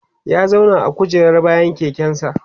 ya zauna a kujerar bayan keken sa